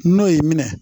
N'o y'i minɛ